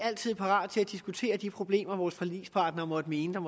altid parate til at diskutere de problemer vores forligspartnere måtte mene at